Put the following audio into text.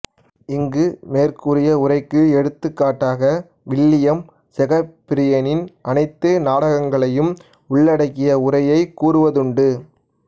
இங்கு மேற்கூறிய உரைக்கு எடுத்துக்காட்டாக வில்லியம் செகப்பிரியரின் அனைத்து நாடகங்களையும் உள்ளடக்கிய உரையைக் கூறுவதுண்டு